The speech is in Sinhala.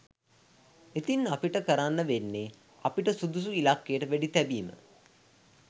ඉතිං අපිට කරන්න වෙන්නෙ අපිට සුදුසු ඉලක්කයට වෙඩිතැබීම